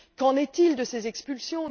Qu'en est il de ces expulsions?